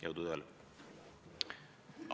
Jõudu tööle!